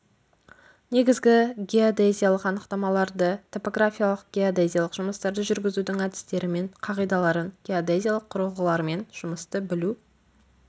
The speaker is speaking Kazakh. негізгі геодезиялық анықтамаларды топографиялық-геодезиялық жұмыстарды жүргізудің әдістері мен қағидаларын геодезиялық құрылғылармен жұмысты білу